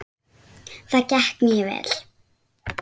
Það gekk mjög vel.